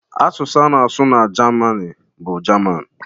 Asụsụ a na-asụ na Jamini bụ Jaman